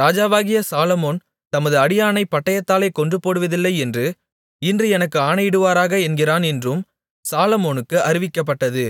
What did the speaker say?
ராஜாவாகிய சாலொமோன் தமது அடியானைப் பட்டயத்தாலே கொன்றுபோடுவதில்லை என்று இன்று எனக்கு ஆணையிடுவாராக என்கிறான் என்றும் சாலொமோனுக்கு அறிவிக்கப்பட்டது